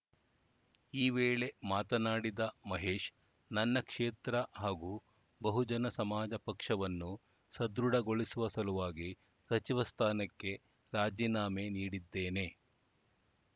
ಈ ವೇಳೆ ಮಾತನಾಡಿದ ಮಹೇಶ್‌ ನನ್ನ ಕ್ಷೇತ್ರ ಹಾಗೂ ಬಹುಜನ ಸಮಾಜ ಪಕ್ಷವನ್ನು ಸಧೃಢಗೊಳಿಸುವ ಸಲುವಾಗಿ ಸಚಿವ ಸ್ಥಾನಕ್ಕೆ ರಾಜೀನಾಮೆ ನೀಡಿದ್ದೇನೆ